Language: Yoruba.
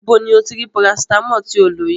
Ibo ni o ti rí Paracetamol tí o lò yìí?